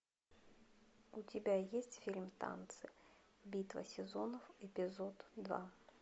у тебя есть фильм танцы битва сезонов эпизод два